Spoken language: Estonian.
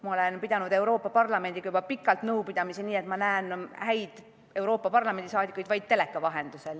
Ma olen pidanud Euroopa Parlamendiga juba pikalt nõupidamisi nii, et ma näen häid Euroopa Parlamendi liikmeid vaid teleka vahendusel.